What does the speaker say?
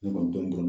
Ne kɔni dɔni